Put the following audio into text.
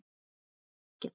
Hann vissi ekkert.